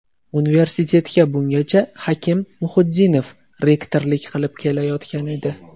Universitetga bungacha Hakim Muhiddinov rektorlik qilib kelayotgan edi.